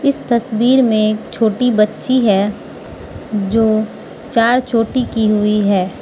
इस तस्वीर में एक छोटी बच्ची है जो चार चोटी की हुई है।